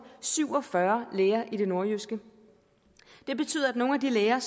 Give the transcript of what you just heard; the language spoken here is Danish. syv og fyrre læger i det nordjyske det betyder at nogle af de læger